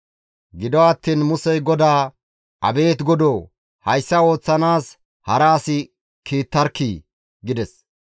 Gido attiin Musey GODAA, «Abeet Godoo! Hayssa ooththanaas hara as kiittarkkii!» gides.